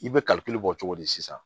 I bɛ kalikule bɔ cogo di sisan